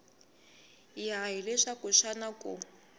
ya hi leswaku xana ku